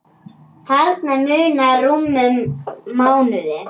Þarna munar rúmum mánuði.